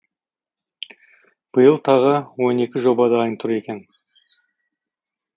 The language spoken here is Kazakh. биыл тағы он екі жоба дайын тұр екен